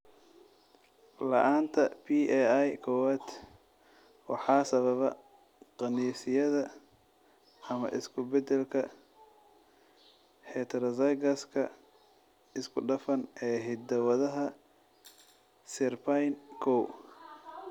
La'aanta PAI kowaad waxaa sababa qaniisyada ama isku-bedelka heterozygous-ka isku-dhafan ee hidda-wadaha SERPINE kow.